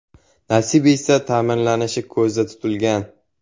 Nasib etsa ta’mirlanishi ko‘zda tutilgan.